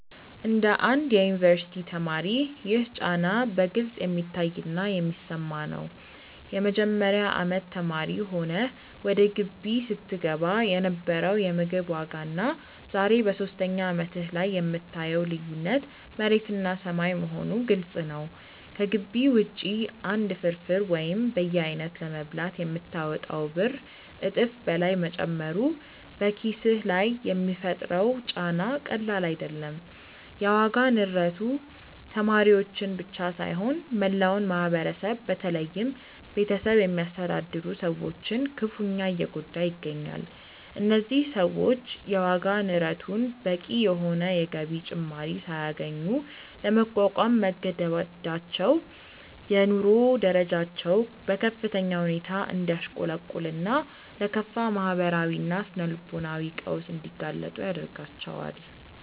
እንደ አንድ የዩኒቨርሲቲ ተማሪ ይህ ጫና በግልጽ የሚታይና የሚሰማ ነው። የመጀመሪያ አመት ተማሪ ሆነህ ወደ ግቢ ስትገባ የነበረው የምግብ ዋጋና ዛሬ በሶስተኛ አመትህ ላይ የምታየው ልዩነት መሬትና ሰማይ መሆኑ ግልጽ ነው። ከግቢ ውጪ አንድ ፍርፍር ወይም በየአይነቱ ለመብላት የምታወጣው ብር እጥፍ በላይ መጨመሩ በኪስህ ላይ የሚፈጥረው ጫና ቀላል አይደለም። የዋጋ ንረቱ ተማሪዎችን ብቻ ሳይሆን መላውን ማህበረሰብ በተለይም ቤተሰብ የሚያስተዳድሩ ሰዎችን ክፉኛ እየጎዳ ይገኛል። እነዚህ ሰዎች የዋጋ ንረቱን በቂ የሆነ የገቢ ጭማሪ ሳያገኙ ለመቋቋም መገደዳቸው የኑሮ ደረጃቸው በከፍተኛ ሁኔታ እንዲያሽቆለቁልና ለከፋ ማህበራዊና ስነ-ልቦናዊ ቀውስ እንዲጋለጡ ያደርጋቸዋል።